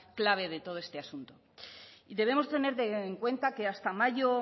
clave de todo ese asunto debemos tener en cuenta que hasta mayo